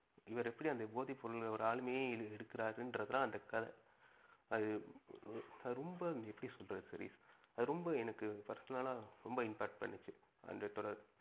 இவரு எப்படி அந்த போதை பொருள் இந்த ஆளுமையே எடுக்குறாருன்னுறது தான் அந்த கதை. அது எர் அது ரொம்ப எப்படி சொல்றது சதீஷ், அது ரொம்ப எனக்கு personal ஆ ரொம்ப impact பண்ணுச்சு அந்த தொடர்.